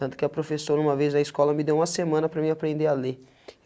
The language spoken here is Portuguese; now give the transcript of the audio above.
Tanto que a professora, uma vez na escola, me deu uma semana para mim aprender a ler.